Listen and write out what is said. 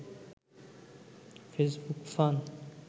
Facebook fun